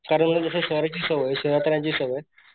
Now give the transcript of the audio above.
कारण मला कस शहराची सवय शहरात राहायची सवय,